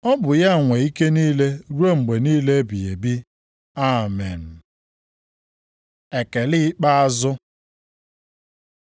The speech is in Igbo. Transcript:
Ọ bụ ya nwe ike niile ruo mgbe niile ebighị ebi. Amen. Ekele ikpeazụ